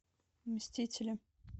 мстители